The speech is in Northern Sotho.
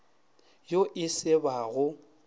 yo e se ba go